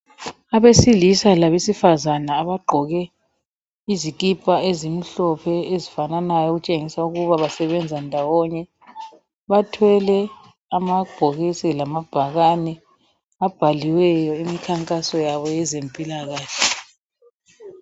Abesilisa labesifazana abagqoke izikipa ezimhlophe ezifananayo ezitshengisa ukuba basebenza ndawonye bathwele amabhokisi lamabhakani abhaliweyo imikhankaso yabo yezempilakahle.